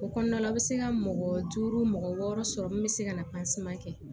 O kɔnɔna la u bɛ se ka mɔgɔ duuru mɔgɔ wɔɔrɔ sɔrɔ min bɛ se ka na kɛ